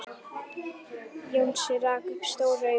Jónsi rak upp stór augu.